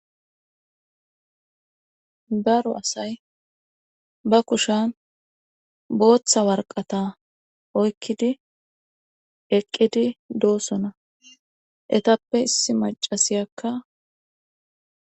Daro asay ba kushan booththa warqata oykkidi eqqidi doosona etappe issi macasiyakka